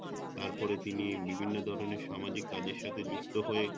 তারপর তিনি বিভিন্ন ধরনের সামাজিক কাজের সাথে যুক্ত হয়ে